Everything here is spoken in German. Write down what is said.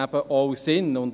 Es ist eben auch sinnvoll.